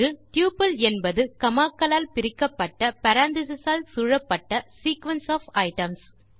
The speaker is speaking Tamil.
டப்பிள் என்பது காமா க்களால் பிரிக்கப்பட்ட பேரெந்தீசஸ் ஆல் சூழப்பட்ட சீக்வென்ஸ் ஒஃப் ஐட்டம்ஸ்